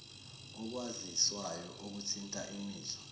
okwaziswayo okuthinta imizwa